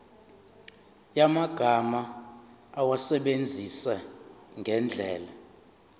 yamagama awasebenzise ngendlela